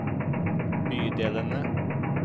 bydelene